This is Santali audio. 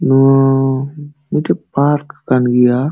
ᱱᱚᱣᱟ ᱢᱤᱫᱛᱮᱡ ᱯᱟᱨᱠ ᱠᱟᱱ ᱜᱤᱭᱟ᱾